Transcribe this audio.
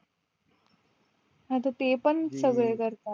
आता तेपण सगळे करतात